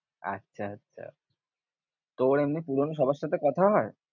আচ্ছা আচ্ছা, তোর এমনি পুরোনো সবার সাথে কথা হয়?